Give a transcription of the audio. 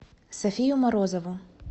софию морозову